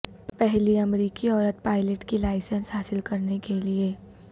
پہلی امریکی عورت پائلٹ کی لائسنس حاصل کرنے کے لئے